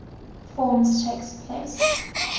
forms takes place